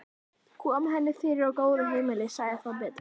Kom henni fyrir á góðu heimili, sagði það betra.